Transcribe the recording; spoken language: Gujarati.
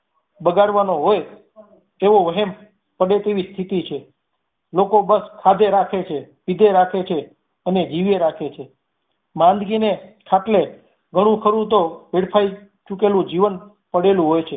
બગાડવાનો હોઈ તેઓ એમ પડે તેવી સ્થિતિ છે. લોકો બસ ખાધે રાખે છે પીધે રાખે છે અને જીવે રાખે છે માંદગી ને ખાટલે ઘણુંખરું તો વેડફાઈ ચૂકેલું જીવન પડેલું હોય છે.